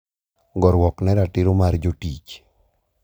Goruok ne ratiro mar jotich.